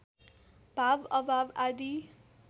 भाव अभाव आदि